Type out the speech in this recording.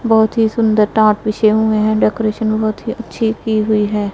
बहुत ही सुंदर टाट बिछे हुए है डेकोरेशन बहुत ही अच्छी की हुई है।